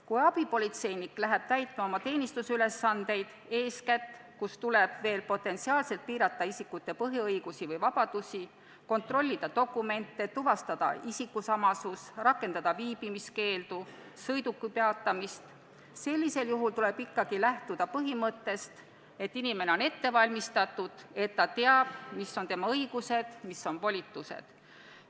Kui abipolitseinik läheb oma teenistusülesandeid täitma, eeskätt juhtudel, kui tal tuleb potentsiaalselt piirata isikute põhiõigusi või -vabadusi, kontrollida dokumente, tuvastada isikusamasust, rakendada viibimiskeeldu, peatada sõidukeid, tuleb ikkagi lähtuda põhimõttest, et inimene on ette valmistatud, ta teab, millised on tema õigused ja volitused.